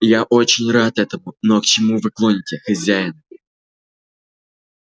я очень рад этому но к чему вы клоните хозяин